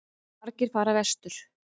Margir fara vestur